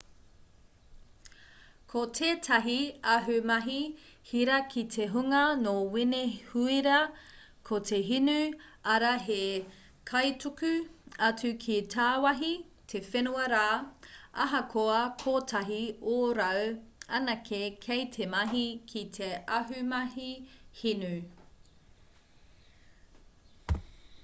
ko tētahi ahumahi hira ki te hunga nō wenehūera ko te hinu arā he kaituku atu ki tāwahi te whenua rā ahakoa kotahi ōrau anake kei te mahi ki te ahumahi hinu